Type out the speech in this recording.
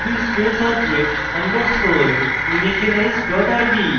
ruby space object underscore initialize dot rb